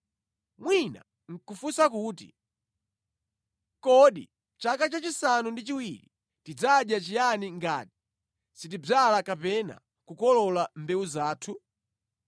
Mwina nʼkafunsa kuti, ‘Kodi chaka chachisanu ndi chiwiri tidzadya chiyani ngati sitidzala kapena kukolola mbewu zathu?’